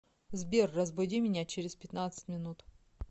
сбер разбуди меня через пятнадцать минут